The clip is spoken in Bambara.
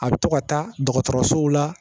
A bɛ to ka taa dɔgɔtɔrɔsow la